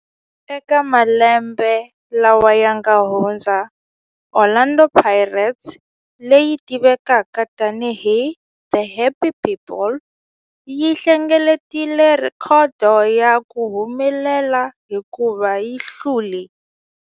Eka malembe lawa yanga hundza, Orlando Pirates, leyi tivekaka tani hi 'The Happy People', yi hlengeletile rhekhodo ya ku humelela hikuva yi hlule.